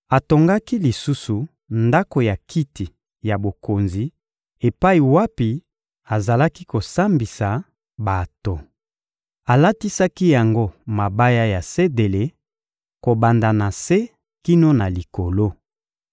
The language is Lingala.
Atongaki lisusu ndako ya kiti ya bokonzi epai wapi azalaki kosambisa bato. Alatisaki yango mabaya ya sedele, kobanda na se kino na likolo.